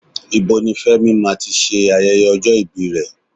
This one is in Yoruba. Ibo ni Fẹ́mi máa ti ṣe ayẹyẹ ọjọ́ ibi rẹ̀?